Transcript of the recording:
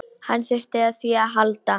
Hann þurfti á því að halda.